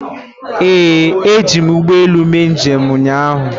Ee, eji m ụgbọelu mee njem ụnyaahụ.